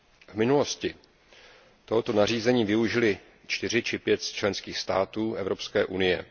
V minulosti tohoto nařízení využily čtyři či pět z členských států Evropské unie.